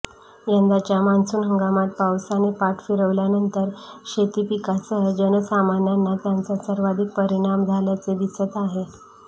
यंदाच्या मान्सून हंगामात पावसाने पाठ फिरवल्यानंतर शेतीपिकांसह जनसामान्यांना त्यांचा सर्वाधिक परिणाम झाल्याचे दिसत आहे